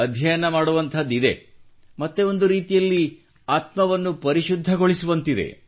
ಅಧ್ಯಯನ ಮಾಡುವಂಥದಿದೆ ಮತ್ತು ಒಂದು ರೀತಿಯಲ್ಲಿ ಆತ್ಮವನ್ನು ಪರಿಶುದ್ಧಗೊಳಿಸುವಂತಿದೆ